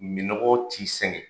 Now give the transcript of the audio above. Minnɔgɔ t'i sɛgɛn.